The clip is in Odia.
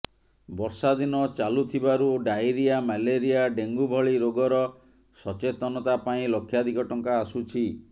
ବର୍ଷା ଦିନ ଚାଲୁଥିବାରୁ ଡ଼ାଇରିଆ ମ୍ୟାଲେରିଆ ଡ଼େଙ୍ଗୁ ଭଳି ରୋଗର ସଚେତନତା ପାଇଁ ଲକ୍ଷାଧିକ ଟଙ୍କା ଆସୁଛି